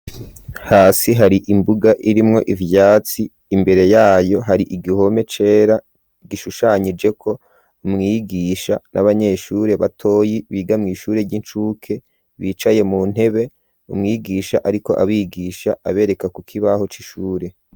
Hasi hari imbuga irimwo ivyatsi imbere yayo hari igihome cera gishushanijeko mwigisha n'abanyeshure batoyi biga mw'ishure ry'incuke bicaye mu ntebe umwigisha ariko abigisha abereka ku kibaho c'ishure.